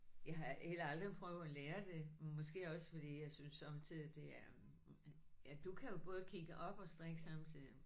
Jeg har heller aldrig prøvet at lære det. Måske også fordi jeg synes sommetider det er ja du kan jo både kigge op og strikke samtidig